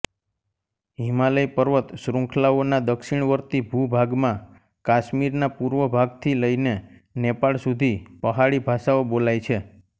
હિમાલય પર્વતશ્રૃંખલાઓના દક્ષિણવર્તી ભૂભાગમાં કાશ્મીરના પૂર્વ ભાગથી લઈને નેપાળ સુધી પહાડી ભાષાઓ બોલાય છે